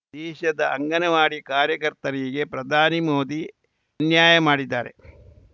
ದೇಶದ ಅಂಗನವಾಡಿ ಕಾರ್ಯಕರ್ತಯರಿಗೆ ಪ್ರಧಾನಿ ಮೋದಿ ಅನ್ಯಾಯ ಮಾಡಿದ್ದಾರೆ